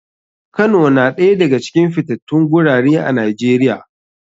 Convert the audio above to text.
Kano na ɗaya daga cikin fitatun gurare a nijeria.